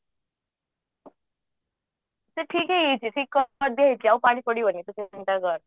ସେ ଠିକ ହେଇଛି ଆଉ ପାଣି ପଡିବନି ତୁ କେବେ ଚିନ୍ତା କରେନି